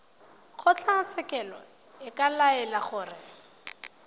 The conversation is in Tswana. kgotlatshekelo e ka laela gore